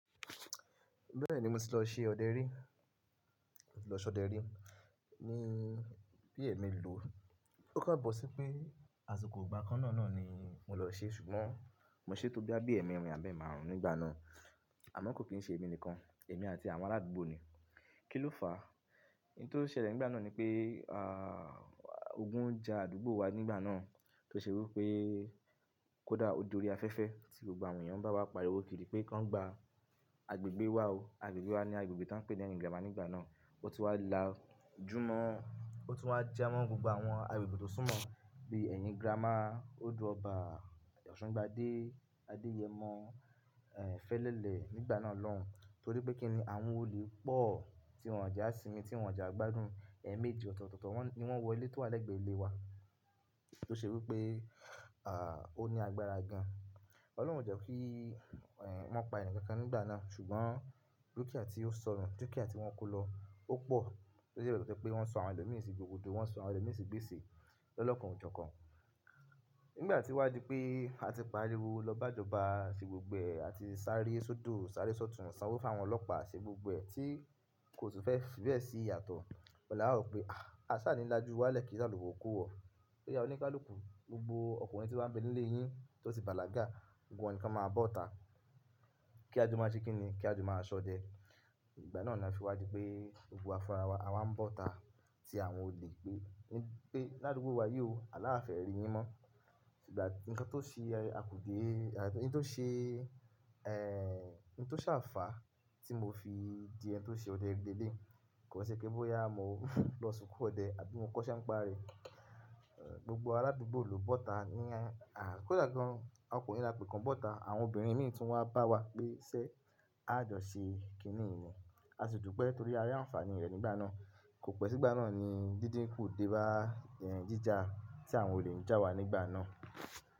Bẹ́ẹ̀ni, mo ti lọ ṣe ọdẹ rí, mo ti lọ ṣọdẹ rí. Ni bí ẹ̀mi lò ó kobọ sí pé àsìkò ìgbà kan náà náà ni mò lọ ṣe ṣùgbọ́n mò ṣe tó bí ẹ́ẹ̀mẹrin àbí ẹ márùn-ún nígbà náà. Àmọ́ kò kí ń ṣe èmi nìkan, èmi àti àwọn aládùúgbò ni. Kí ló fà á? N tó ṣẹlẹ̀ nígbà náà ni pé, à, ogun ń ja àdúgbò wa nígbà náà tó ṣe wípé kódà odò orí afẹ́fẹ́ tí gbogbo àwọn èèyàn bá wá pariwo kiri pé ká ń gba agbègbè wa o. Agbègbè wa ni agbègbè tí wọ́n ń pè ní Ẹ̀yìn Grama nígbà náà. Ó ti wá lájúmọ́, ó ti wá jámọ́ gbogbo àwọn agbègbè tó súnmọ́ bí Ẹ̀yìn Grama, Odò ọba, Òṣùgbádé, Adéyẹmọ, ẹ̀, Fẹ́lẹ́lẹ̀ nígbà náà lọ́hùn. Torí pé kí ni àwọn olè pọ̀ tí wọ́n ń jà sí i ni tí wọ́n ń jà gbádùn ẹ̀mèjí ọ̀tọ̀tọ̀tọ̀ ni wọ́n wọ ilé tó wà lẹ́gbẹ̀ẹ́ ilé wa. Tó ṣe wípé, à, ó ní agbára gan. Ọlọ́run jẹ́ kí, ẹ, wọ́n pa ẹnìkankan nígbà náà ṣùgbọ́n dúkìá tí ó sọnù, dúkìá tí wọ́n kó lọ ó pọ̀. Ó ṣe bẹ́ẹ̀ pé wọ́n sọ àwọn ọdẹ mìíràn sí gbogbo odò, wọ́n sọ àwọn ọdẹ mìíràn sí gbèsè lọ́kàn oòjọ kan. Nígbà tí wá di pé a ti pariwo lọ bá ìjọba ṣe gbogbo ẹ̀, a ti sáré sódò, sáré sọ̀tún, san owó fún àwọn ọlọ́pàá ṣe gbogbo ẹ̀ tí kò tún fẹ́ fi bẹ́ẹ̀ sí iyatọ̀. Ọ̀un la wa rò pé, à, a sá nínlájú wá lẹ́kíṣí alùpùpù kó wọ. Ṣé ìyá oníkálùkù gbogbo ọkùnrin tí wọ́n bí nílé yìí tó ti bàlágà, gbogbo wọn ni kí wọ́n máa bọ́ta. Kí á jọ máa ṣe kí ni, kí á jọ máa ṣọdẹ. Ìgbà náà ni a fi wá di pé gbogbo a fúnra wa máa ń bọ́ta tí àwọn olè pé, pé ládùúgbò wa yóò, aláfẹ́ rí yín mọ́. Ìgbà nìkan tó ṣe a kò dé, à, nìkan tó ṣe, ẹ, n tó ṣànfà tí mo fi di ẹni tó ṣe ọdẹ ẹgbẹ́ lé. Kò ṣe pé bóyá à mo lọ sunkún ọdẹ àbí mo kọ́ṣẹ́ ń parí. Ẹ, gbogbo arádúgbò lu bọ́ta ní, a, a kò dà gan. Ọkùnrin la pè kan bọ́ta. Àwọn obìnrin mìíràn tún wá bá wa pé ṣé a jọ ṣe kí ni ìní. A sì dùpe torí ayé àǹfààní rẹ̀ nígbà náà. Kò pẹ́ sígbà náà ni díndín kò dé bá, ẹ, jíjà tí àwọn olè ń já wa nígbà náà.